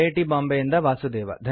T Bombay ಯಿಂದ ವಾಸುದೇವ